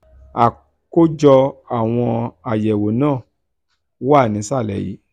àkójọ àwọn àyẹ̀wò náà wà nísàlẹ̀ yìí.